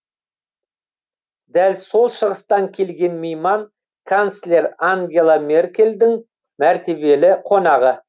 дәл сол шығыстан келген мейман канцлер ангела меркельдің мәртебелі қонағы